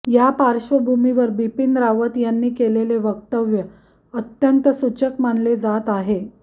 या पार्श्वभूमीवर बिपीन रावत यांनी केलेले वक्तव्य अत्यंत सूचक मानले जात आहे